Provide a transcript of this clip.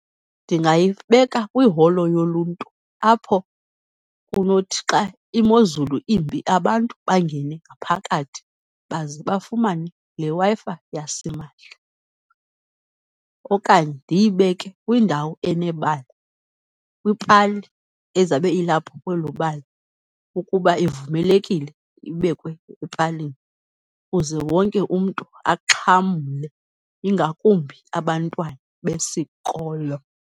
Ndingayibeka kwiholo yoluntu apho kunothi xa imozulu imbi, abantu bangene ngaphakathi baze bafumane leWi-Fi yasimahla. Okanye ndiyibeke kwindawo enebala, kwipali ezabe ilapho kwelo bala ukuba ivumelekile ibekwe epalini, kuze wonke umntu axhamle, ingakumbi abantwana besikolo.